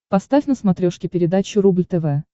поставь на смотрешке передачу рубль тв